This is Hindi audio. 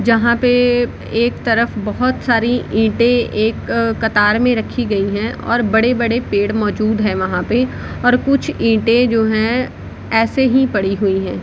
जहाँ पे एक तरफ बहुत सारी ईटें एक कतार में रखी गई हैं और बड़े-बड़े पेड़ मौजूद हैं वहाँ पे और कुछ ईटें जो हैं ऐसे ही पड़ी हुई हैं।